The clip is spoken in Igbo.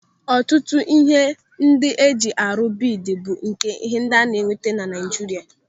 Ọtụtụ ihe ndị eji arụ biidi bụ nke ana-enweta na Naijiria.